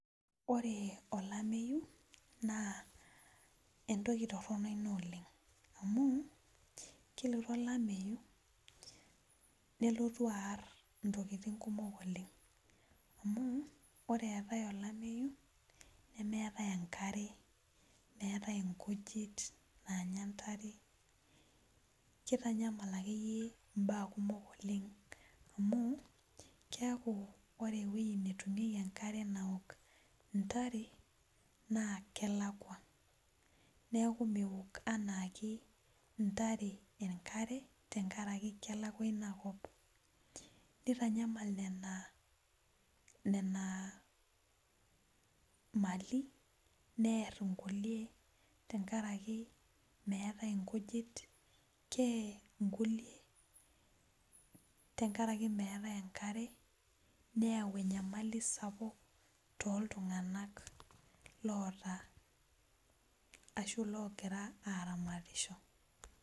Ore olameyu naa entoki torrono ina oleng amu kelotu olameyu nelotu arr intokiting kumok oleng amu ore eetae olameyu nemeetae enkare meetae inkujit naanya intare kitanyamal akeyie imbaa kumok oleng amu keku ore ewueji netumieki enkare naok intare naa kelakua neeku mewok anaake intare enkare tenkarake kelakua inakop nitanyamal nena nena mali nerr inkulie tenkaraki meetae inkujit keye inkulie tenkarake meetae enkare neyawu enyamali sapuk toltung'anak loota ashu logira aramatisho.